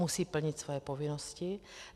Musí plnit své povinnosti.